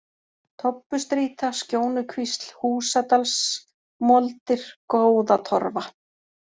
Tobbustrýta, Skjónukvísl, Húsadalsmoldir, Góðatorfa